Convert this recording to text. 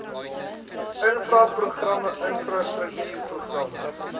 infra programme infrastruktuurprogramme